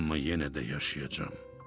Amma yenə də yaşayacam.